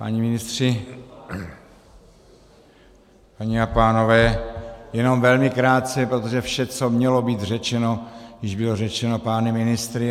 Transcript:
Páni ministři, paní a pánové, jenom velmi krátce, protože vše, co mělo být řečeno, již bylo řečeno pány ministry.